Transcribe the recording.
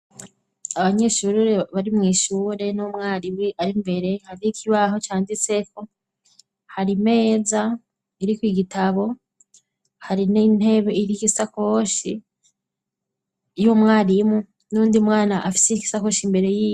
Abanyeshure bari mw'ishure n'umwarimu ari mbere, hariho ikibaho canditseko, hari imeza iriko igitabo, hari n'intebe iriko isakoshi y'umwarimu n'uwundi mwana afise igisakoshi imbere yiwe.